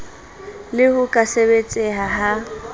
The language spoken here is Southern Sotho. le ho ka sebetseha ha